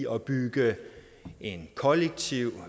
opbygge en kollektiv